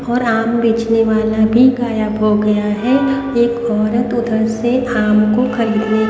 और आम बेचने वाला भी गायब हो गया है एक औरत उधर से आम को खरीदने--